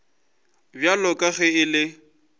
bjalo ka ge e le